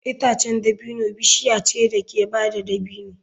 Itacen dabino bishiya ce da ke bada dabino.